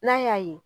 N'a y'a ye